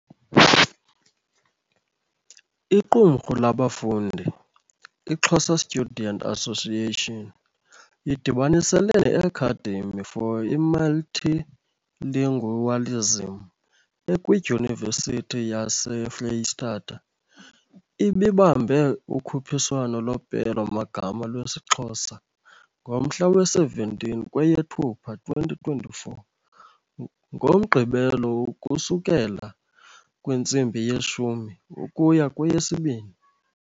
iQumhru labafundi I Xhosa students Association idibaniselene ne Academy for Multilingualism ekwi Dyunivesithi yase Freystata. Ibibambe ukhuphiswano lopelo magama lwesiXhosa ngomhla we 17 kweyeThupha 2024, ngomgqibelo ukusukela kwintsimbi yeshumi ukuya kweyesibini.